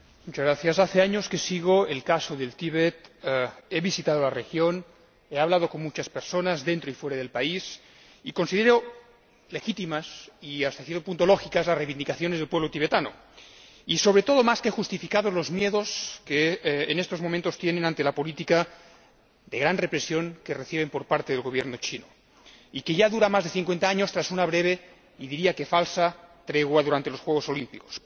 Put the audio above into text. Señora Presidenta, hace años que sigo el caso del Tíbet he visitado la región he hablado con muchas personas dentro y fuera del país y considero legítimas, y hasta cierto punto lógicas, las reivindicaciones del pueblo tibetano y, sobre todo, más que justificados los miedos que en estos momentos tienen ante la política de gran represión que reciben por parte del Gobierno chino y que ya dura más de 50 años tras una breve y diría que falsa tregua durante los Juegos Olímpicos.